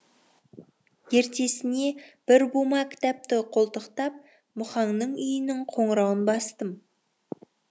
ертесіне бір бума кітапты қолтықтап мұхаңның үйінің қоңырауын бастым